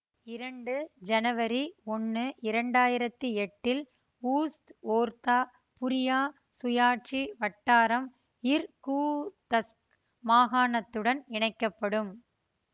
இரண்டு ஜனவரி ஒன்னு இரண்டா யிரத்தி எட்டி ல் ஊஸ்த்ஓர்தா புரியா சுயாட்சி வட்டாரம் இர்கூதஸ்க் மாகாணத்துடன் இணைக்க படும்